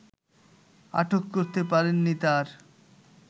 আটক করতে পারেননি তার